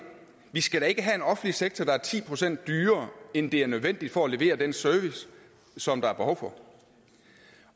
vi skal da ikke have en offentlig sektor der er ti procent dyrere end det er nødvendigt for at levere den service som der er behov for